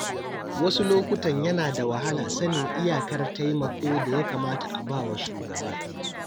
Wasu lokutan yana da wahala sanin iyakar taimako da ya kamata a ba wa shugaba.